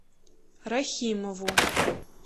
рахимову